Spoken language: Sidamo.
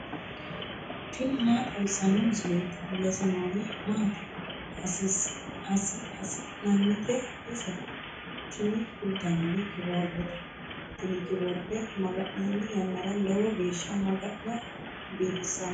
tini maa xawissanno misileeti ? mulese noori maati ? hiissinannite ise ? tini kultannori kiboordete. tini kiboorde maga'ninanni yannara lowo geesha maga'no biifissannote.